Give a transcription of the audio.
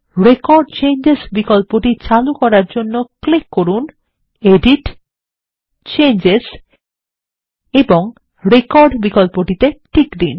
record changes বিকল্পটি চালু করার জন্য ক্লিক করুন → এডিট → চেঞ্জেস এবং রেকর্ড বিকল্পটিতে টিক দিন